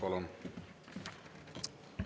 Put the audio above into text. Palun!